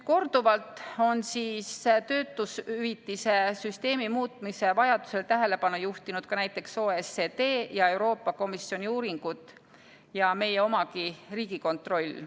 Korduvalt on töötushüvitise süsteemi muutmise vajadusele tähelepanu juhtinud ka näiteks OECD ja Euroopa Komisjoni uuringud ja meie omagi Riigikontroll.